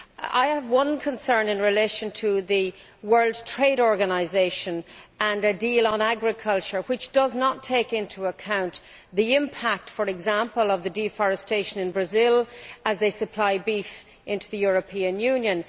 I have a concern in relation to the World Trade Organisation and a deal on agriculture which does not take into account the impact, for example, of deforestation in Brazil as it supplies beef to the European Union.